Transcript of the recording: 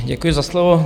Děkuji za slovo.